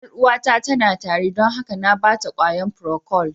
Yar'uwata tana tari don haka na ba ta ƙwayan "procold".